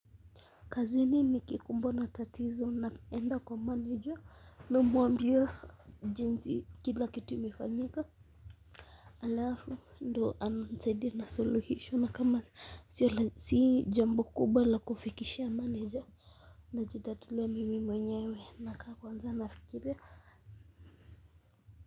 Kazini nikikumbwa na tatizo na enda kwa manager, namwambia jinsi kila kitu imefanyika alafu ndo ananisaidia na suluhisho, na kama si jambo kubwa la kufikishia manager, najitatulia mimi mwenyewe, nakaa kwanza nafikiria.